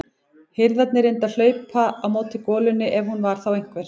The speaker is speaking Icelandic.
Hirðarnir reyndu að hlaupa á móti golunni ef hún var þá einhver.